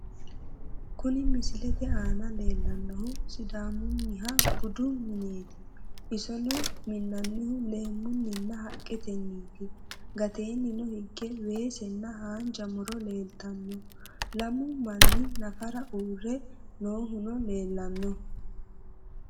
kuni misilete aana leellannohu sidaamunniha budu mineeti, isono minnannihu leemmunninna haqqetenniti, gateenni hige weesenna haanja muro leeltanno lamu manni nafara uurre noohuno leellanno.